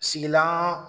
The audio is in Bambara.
Sigilan